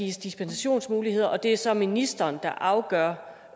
gives dispensationsmuligheder og det er så ministeren der afgør